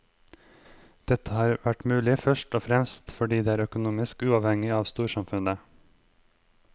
Dette har vært mulig først og fremst fordi de er økonomisk uavhengige av storsamfunnet.